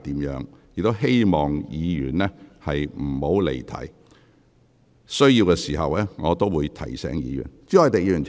我希望議員不要離題；有需要時，我便會提醒議員。